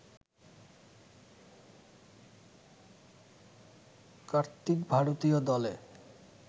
কার্তিক ভারতীয় দলে